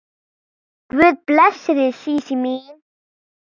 Guð blessi þig Sísí mín.